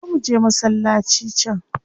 Zo muje masallaci can.